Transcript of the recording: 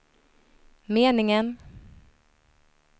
meningen